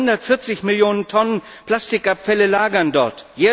Weit über 140 Millionen Tonnen Plastikabfälle lagern dort.